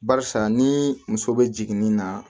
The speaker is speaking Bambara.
Barisa ni muso be jigin ni na